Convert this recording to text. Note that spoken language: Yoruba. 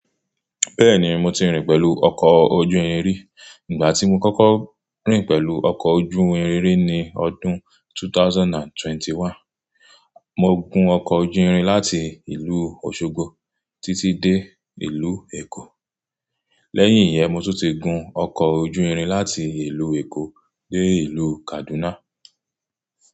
Bẹ́ẹ̀ni, mo ti rìn pẹ̀lú ọkọ̀ ojú irin rí. Ìgbà tí mo kọ́kọ́ rìn pẹ̀lú ọkọ̀ ojú irin rí ni ọdún 2021. Mo gun ọkọ̀ ojú irin láti ìlú Òṣogbo títí dé ìlú Èkó. Lẹ́yìn yẹn, mo tún ti gun ọkọ̀ ojú irin láti ìlú Èkó dé ìlú Kaduna.